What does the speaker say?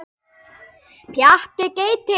Pjatti gelti.